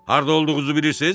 Harda olduğunuzu bilirsiz?